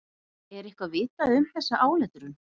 Er eitthvað vitað um þessa áletrun?